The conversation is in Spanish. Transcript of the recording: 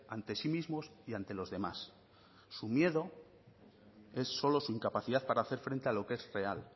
ante sí mismos y ante los demás su miedo es solo su incapacidad para hacer frente a lo que es real